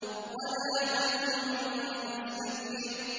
وَلَا تَمْنُن تَسْتَكْثِرُ